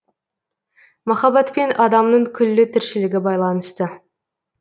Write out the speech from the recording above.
махаббатпен адамның күллі тіршілігі байланысты